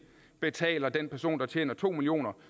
betaler den person der tjener to million